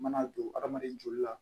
Mana don hadamaden joli la